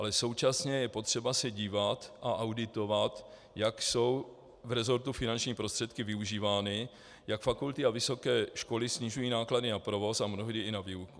Ale současně je potřeba se dívat a auditovat, jak jsou v resortu finanční prostředky využívány, jak fakulty a vysoké školy snižují náklady na provoz a mnohdy i na výuku.